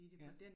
Ja